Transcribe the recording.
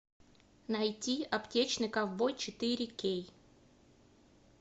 найти аптечный ковбой четыре кей